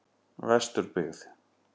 Vesturbyggð